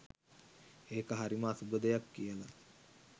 ඒක හරිම අසුභ දෙයක් කියලා.